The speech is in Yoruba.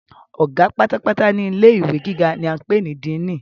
Ọ̀gá pátápátá ní ilé ìwé gíga ni a ń pè ní "Diínì".